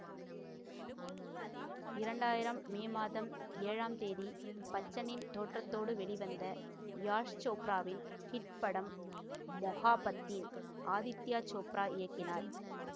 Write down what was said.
இரண்டு ஆயிரம் மே மாதம் ஏழாம் தேதி பச்சனின் தோற்றத்தோடு வெளிவந்த யாஷ் சோப்ராவின் ஹிட் படம் மொஹாபத்தீன் ஆதித்யா சோப்ரா இயக்கினார்